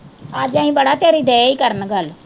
ਅੱਜ ਅਸੀ ਬੜਾ ਤੇਰੀ ਦਏ ਈ ਕਰਨ ਤੇਰੀ ਗੱਲ ਕਰਨ